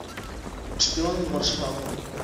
шпионы варшавы